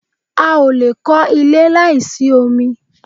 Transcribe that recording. a ò lè kọ́ ilé láì sí omi